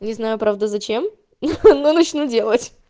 не знаю правду зачем ну начну делать